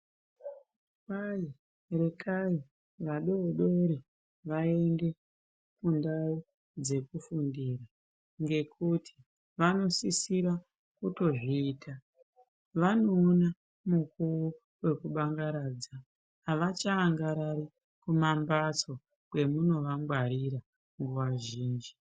Kwai rekai vadodori vaende kundau dzekufundira ngekuti vanosisira kutozviita. Vanoona mukuwo wekubangaradza, avachaangarari pambatso pemunovangwarira nguva zhinji.